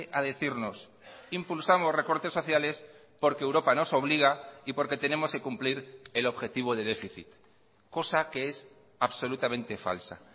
a decirnos impulsamos recortes sociales porque europa nos obliga y porque tenemos que cumplir el objetivo de déficit cosa que es absolutamente falsa